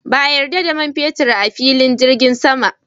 Ba a yarda da man fetur a filin jirgin sama